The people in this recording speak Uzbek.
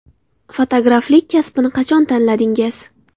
Fotograflik kasbini qachon tanladingiz?